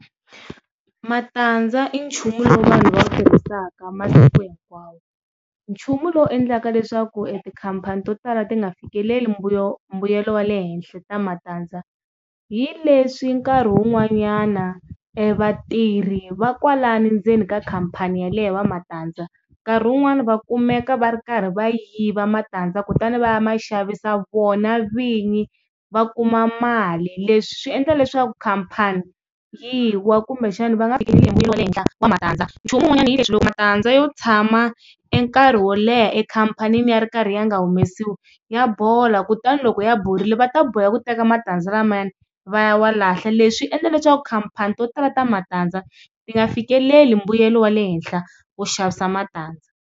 Matandza i nchumu lowu vanhu va wu tirhisaka masiku hinkwawo nchumu lowu endlaka leswaku etikhampani to tala ti nga fikeleli mbuyelo mbuyelo wa le henhla ta matandza hi leswi nkarhi wun'wanyana e vatirhi va kwalano ndzeni ka khampani yaleyo va matandza nkarhi wun'wanyana va kumeka va ri karhi va tirhi va kumeka va ri karhi va yiva matandza kutani va ya ma xavisa vona vinyi va kuma mali leswi swi endla leswaku khampani yi wa kumbexani va nga fikelele mbuyelo wa le henhla wa matandza nchumu un'wanyana yi leswi loko matandza yo tshama nkarhi wo leha ekhampanini ya ri karhi ya nga humelesiwi ya bola kutani loko ya borile va ta boheka ku teka matandza lamayani va ya wa lahla leswi endla leswaku khampani to tala ta matandza ti nga fikeleli mbuyelo wa le henhla wo xavisa matandza.